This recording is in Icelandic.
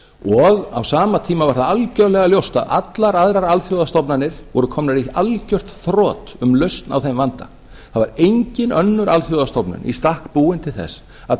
og á sama tíma var það algjörlega ljóst að allar aðrar alþjóðastofnanir voru komnar í algjört þrot um lausn á þeim vanda það var engin önnur alþjóðastofnun í stakk búin til þess að